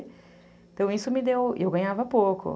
Então isso me deu... E eu ganhava pouco.